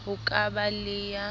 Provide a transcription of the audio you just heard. ho ka ba le ya